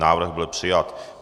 Návrh byl přijat.